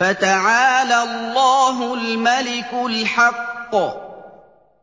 فَتَعَالَى اللَّهُ الْمَلِكُ الْحَقُّ ۗ